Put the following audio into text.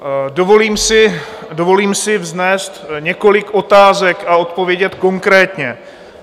Dovolím si vznést několik otázek a odpovědět konkrétně.